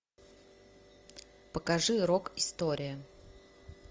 покажи рок история